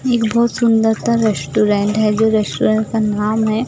एक बहोत सुंदर सा रेस्टोरेंट है जो रेस्टोरेंट का नाम है--